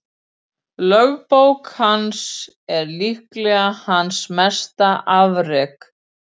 Lögbók hans er líklega hans mesta afrek.